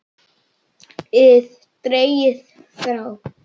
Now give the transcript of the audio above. ið dregið frá.